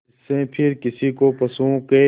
जिससे फिर किसी को पशुओं के